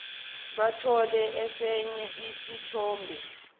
bathole esinye isithombe